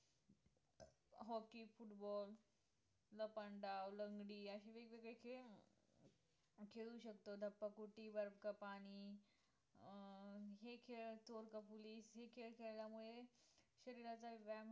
Hockey, football, लपंडाव, लंगडी अशे वेगवेगळे खेळ खेळू शकतो धप्पा कोटी, वर का पाणी अं हे खेळ थोडं कबुली हे खेळ खेळल्यामुळे शरीराचा व्यायाम ही